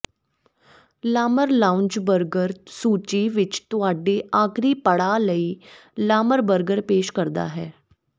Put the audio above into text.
Lamar lounge burger ਸੂਚੀ ਵਿਚ ਤੁਹਾਡੇ ਆਖ਼ਰੀ ਪੜਾਅ ਲਈ ਲਾਮਰ ਬਰਗਰ ਪੇਸ਼ ਕਰਦਾ ਹੈ